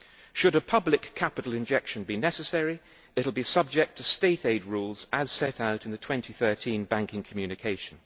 Should a public capital injection be necessary, it will be subject to state aid rules, as set out in the 2013 Banking Communication